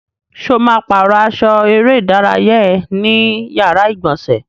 Ṣo ma pàrọ́ aṣọ eré ìdárayá ẹ ní yàrá ìgbọ̀nsẹ̀?